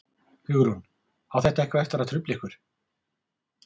Hugrún: Á þetta eitthvað eftir að trufla ykkur?